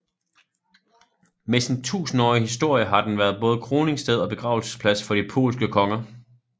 Med sin tusindårige historie har den været både kroningssted og begravelsesplads for de polske konger